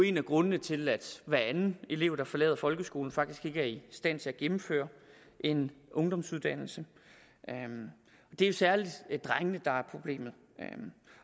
en af grundene til at hver anden elev der forlader folkeskolen faktisk ikke er i stand til at gennemføre en ungdomsuddannelse det er særlig drengene der er problemet